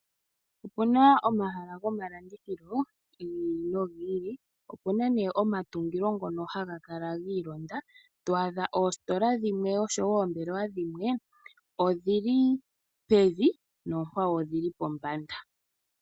Opuna omahala gomalandithilo gi ili no gi ili. Opuna nduno omatungo ngono ha ga kala ga londathana mono to adha oositola dhimwe odhi li pevi, noonkwawo odhi li pombanda.